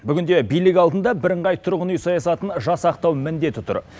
бүгінде билік алдында бірыңғай тұрғын үй саясатын жасақтау міндеті тұр